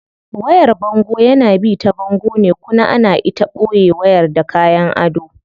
Wayar bango yana bi ta bango ne kuna ana ita boye wayar da kayan ado.